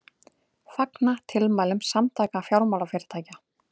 Fagna tilmælum Samtaka fjármálafyrirtækja